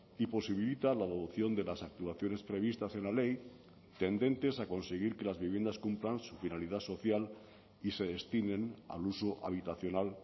y posibilita la adopción de las actuaciones previstas en la ley tendentes a conseguir que las viviendas cumplan su finalidad social y se destinen al uso habitacional